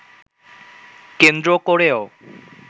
কেন্দ্র করেও